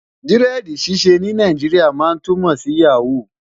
diredi ṣiṣẹ ní Nàìjíríà má túmọ sí yaho